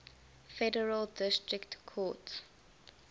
federal district courts